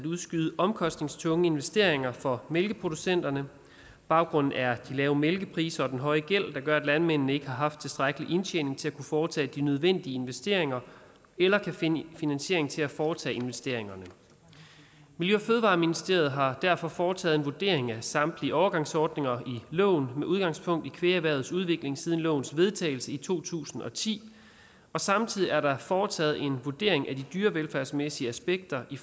udskyde omkostningstunge investeringer for mælkeproducenterne baggrunden er de lave mælkepriser og den høje gæld der gør at landmændene ikke har haft tilstrækkelig indtjening til at kunne foretage de nødvendige investeringer eller finde finansiering til at foretage investeringerne miljø og fødevareministeriet har derfor foretaget en vurdering af samtlige overgangsordninger i loven med udgangspunkt i kvægerhvervets udvikling siden lovens vedtagelse i to tusind og ti og samtidig er der foretaget en vurdering af de dyrevelfærdsmæssige aspekter i